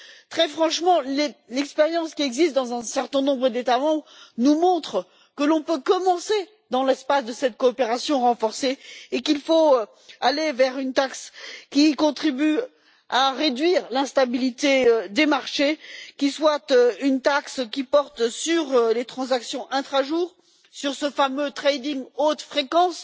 Très franchement, l'expérience qui existe dans un certain nombre d'États membres nous montre que l'on peut commencer dans l'espace de cette coopération renforcée et qu'il faut aller vers une taxe qui contribue à réduire l'instabilité des marchés, que cette taxe porte sur les transactions intra jour ou sur le fameux trading haute fréquence.